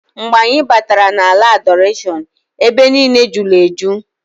Mgbe anyị batara na ala Adọrashọn, ebe niine julu eju.